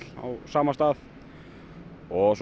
á sama stað og svo